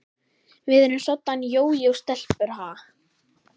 Við erum soddan jójó-stelpur, ha?